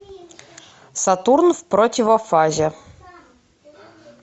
сатурн в противофазе